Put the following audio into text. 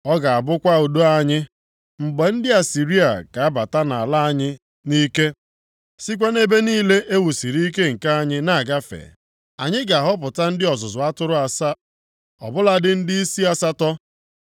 Ọ ga-abụkwa udo anyị. Mgbe ndị Asịrịa ga-abata nʼala anyị nʼike, sikwa nʼebe niile e wusiri ike nke anyị na-agafe, anyị ga-ahọpụta ndị ọzụzụ atụrụ asaa, ọ bụladị ndịisi asatọ.